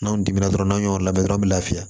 N'anw dimina n'aw y'o labɛn dɔrɔn an bɛ lafiya